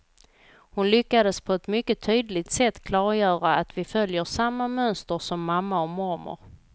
Hon lyckades på ett mycket tydligt sätt klargöra att vi följer samma mönster som mamma och mormor.